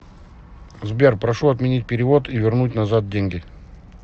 сбер прошу отменить перевод и вернуть назад деньги